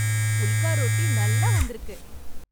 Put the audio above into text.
ஃபுல்கா ரொட்டி நல்லா வந்திருக்கு!